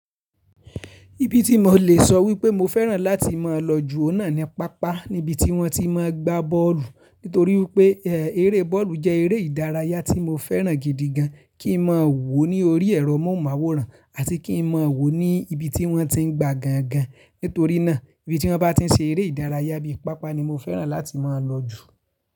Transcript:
Ibi tí mo lè sọ wípé mo fẹ́ràn láti máa lọ jù ó náà ni pápá níbití wọ́n ti máa ń gbá bọ́ọ̀lù. Nítorí pé eré bọ́ọ̀lù jẹ́ eré ìdárayá tí mo fẹ́ràn gidi gan. Kí n máa wò ó ní orí ẹ̀rọ mọ́ màwòrán àti kí n máa wò ó ní ibi tí wọ́n ti ń gba gan gan. Nítorí náà ibi tí wọ́n bá tí ń ṣe eré ìdárayá bíi pápá ni mo fẹ́ràn láti máa lọ jù.